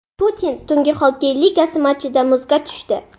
Putin Tungi xokkey ligasi matchida muzga tushdi .